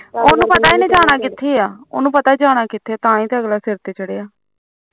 ਉਹਨੂੰ ਪਤਾ ਤੂੰ ਜਾਣਾ ਕਿੱਥੇ ਜਾਣਾ ਕਿਥੇ ਆ ਤਾਂ ਹੀ ਅਗਲਾ ਸਿਰ ਤੇ ਚੜਿਆ